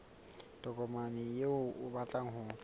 tokomane eo o batlang ho